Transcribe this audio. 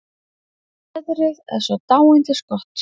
Veðrið er svo dáindisgott.